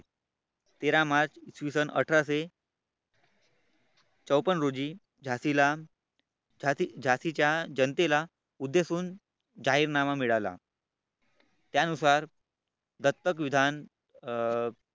तेरा मार्च इसवी सन अठराशे चोपन्न रोजी झाशीला झाशीच्या जनतेला उद्देशून जाहीरनामा मिळाला त्यानुसार दत्तक विधान अं